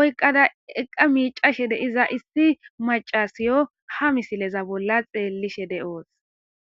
oyqada eqqa miicashe deiza issi macasiyo ha misileza bolla xeellishe de7oos.